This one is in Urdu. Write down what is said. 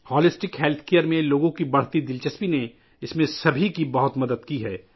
مجموعی حفظانِ صحت میں لوگوں کی بڑھتی ہوئی دلچسپی نے ، اس میں سب کی بہت مدد کی ہے